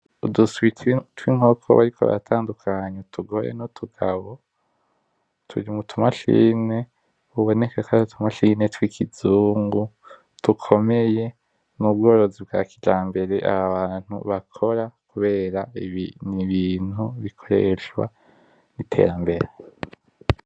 Uduswi twinkoko bariko baratandukanya utugore nutugabo, turi mutu machine biboneka ko ari utu machine twiki zungu dukomeye, n'ubworozi bwakijambere aho hantu bakora kubera n'ibintu bikoreshwa n'iterambere.